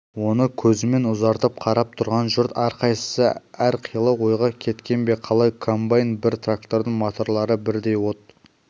оны көзімен ұзатып қарап тұрған жұрт әрқайсысы әрқилы ойға кеткен бе қалай комбайн мен трактордың моторлары бірдей от